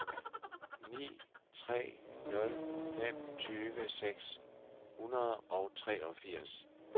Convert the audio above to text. ni tre nul fem tyve seks hundrede og treogfirs